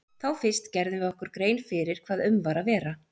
Þá fyrst gerðum við okkur grein fyrir hvað um var að vera.